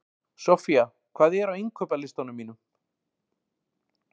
Soffía, hvað er á innkaupalistanum mínum?